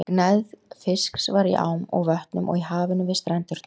Gnægð fisks var í ám og vötnum og í hafinu við strendurnar.